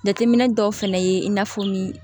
Jateminɛ dɔw fɛnɛ ye in'a fɔ ni